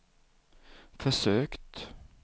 försökt